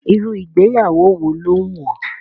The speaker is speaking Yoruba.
Irú ìgbéyàwó wo ló wù ọ́?